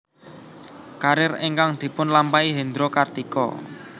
Karir ingkang dipunlampahi Hendro Kartiko